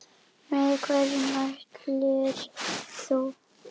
Með hverju mælir þú?